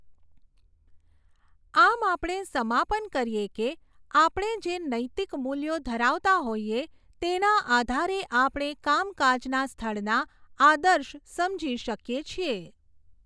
આમ આપણે સમાપન કરીએ કે આપણે જે નૈતિક મૂલ્યો ધરાવતા હોઇએ તેના આધારે આપણે કામકાજના સ્થળના આદર્શ સમજી શકીએ છીએ.